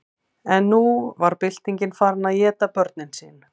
en nú var byltingin farin að éta börnin sín